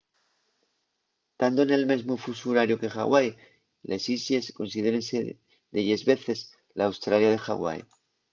tando nel mesmu fusu horariu que ḥawai les islles considérense delles veces l’australia de ḥawai